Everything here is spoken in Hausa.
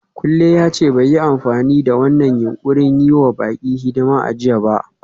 Kunle ya ce bai yi amfani da wannan yunƙurin yi wa baƙi hidima a jiya ba.